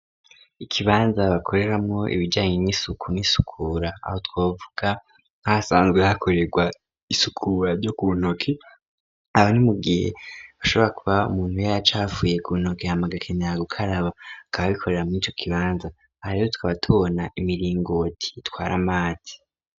Ikibanza bakoreramwo ibijanye n'isuku n'isukura aho twaavuga nkasanzwe hakorerwa isukura ryo kuntoke aba ni mu gihe bashobora kuba umuntu we yacu hafuye ku ntoke hamaga kenera gukaraba kaba bikorera m'icyo kibanza hariho tkaba tubona imiringooti twara mati.